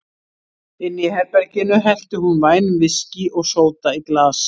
Inni í herberginu hellti hún vænum viskí og sóda í glas.